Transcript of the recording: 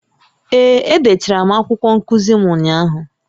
Ee, edechara m akwụkwọ nkuzi m ụnyahụ